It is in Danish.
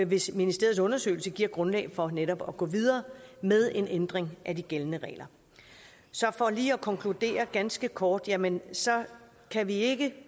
hvis ministeriets undersøgelse giver grundlag for netop at gå videre med en ændring af de gældende regler så for lige at konkludere ganske kort jamen så kan vi ikke